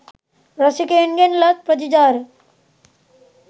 රසිකයන්ගෙන් ලත් ප්‍රතිචාර